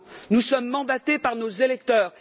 Nous sommes mandatés par nos électeurs